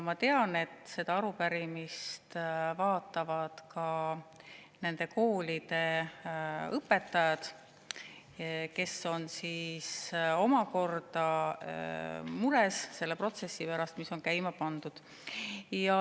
Ma tean, et selle arupärimise vaatavad ka nende koolide õpetajad, kes on mures selle protsessi pärast, mis on käima pandud.